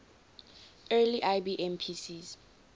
early ibm pcs